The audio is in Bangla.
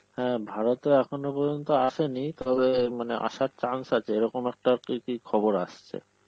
হ্যাঁ ভারতে এখনো পর্যন্ত আসেনি তবে মানে আসার chance আছে, এরকম একটা খবর আসছে.